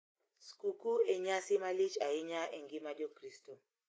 Skuku e nyasi malich ahinya e ngima jokristo.